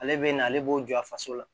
Ale bɛ na ale b'o jɔ a faso la